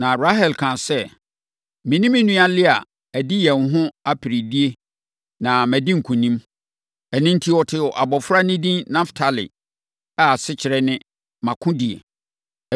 Na Rahel kaa sɛ, “Me ne me nua Lea adi yɛn ho aperedie na madi nkonim.” Ɛno enti, ɔtoo abɔfra no edin Naftali a asekyerɛ ne, “Mʼakodie.”